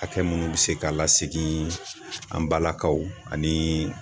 Hakɛ minnu bɛ se ka lasegin an balakaw ani